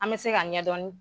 An bɛ se ka ɲɛ dɔɔnin.